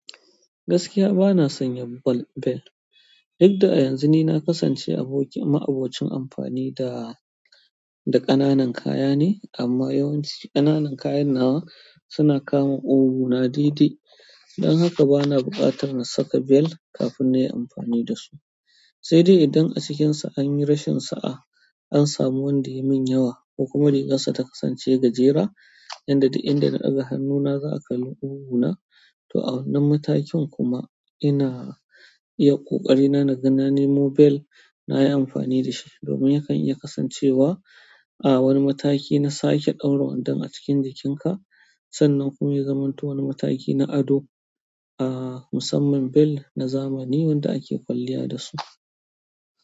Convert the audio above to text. Gaskiya bana son yin bel. Duk da yanzu ni na kasance abokin ma abocin amfani da, da ƙananan kaya ne amma yawanci ƙananan kayan nawa suna kama ƙugu na daidai. Don haka bana buƙatar na saka bel kafin na yi amfani da su. Sai dai idan a cikinsa an yi rashin sa'a, an samu wanda ya min yawa ko kuma rigarsa ta kasance gajera, inda da in da na a ga hannuna za a kalla qugu na. To a wannan matakin kuma ina iya ƙoƙari na, na ga nanemo bel na yi amfani da shi domin yakan iya kasancewa a wani mataki na sake ɗaura wandon a cikin jikinka. Sannan kuma ya zamanto wani mataki na ado, a, musamman bel na zamani wanda ake kwalliya da su.